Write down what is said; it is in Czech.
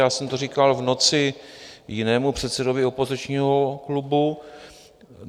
Já jsem to říkal v noci jinému předsedovi opozičního klubu.